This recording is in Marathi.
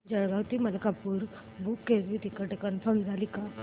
जळगाव ते मलकापुर बुक केलेलं टिकिट कन्फर्म झालं का